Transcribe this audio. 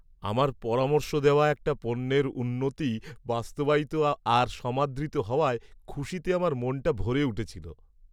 আমার পরামর্শ দেওয়া একটি পণ্যের উন্নতি বাস্তবায়িত আর সমাদৃত হওয়ায় খুশিতে আমার মনটা ভরে উঠেছিল।